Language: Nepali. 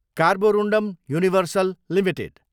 Carborundum Universal Ltd